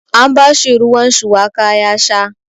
An bashi ruwan shuwaka ya sha.